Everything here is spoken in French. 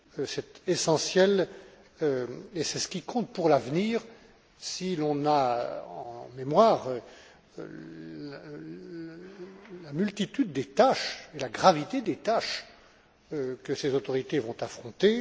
C'est essentiel et c'est ce qui compte pour l'avenir si l'on a en mémoire la multitude des tâches et la gravité des tâches que ces autorités vont affronter.